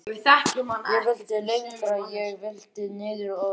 Ég vildi lengra. ég vildi niður að sjó.